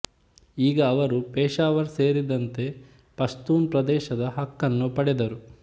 ಈಗ ಅವರು ಪೇಷಾವರ್ ಸೇರಿದಂತೆ ಪಶ್ತೂನ್ ಪ್ರದೇಶದ ಹಕ್ಕನ್ನು ಪಡೆದರು